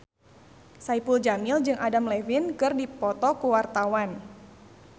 Saipul Jamil jeung Adam Levine keur dipoto ku wartawan